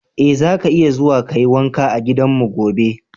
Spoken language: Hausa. Eh, zaka iya zuwa ka yi wanka a gidanmu gobe.